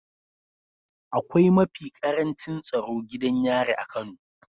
Akwai mafi ƙarancin tsaro gidan yari a kano